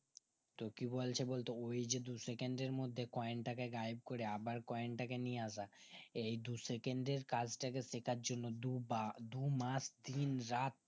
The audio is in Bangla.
তো কি বলছে বলতো এই যে দু second এর মধ্যে কয়েন টাকে গায়েব করে আবার কয়েন টাকে নিয়ে আসা এই দু second এর কাজটাকে শেখার জন্য দুবার দুমাস দিন রাত